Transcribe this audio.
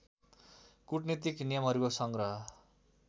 कूटनीतिक नियमहरूको सङ्ग्रह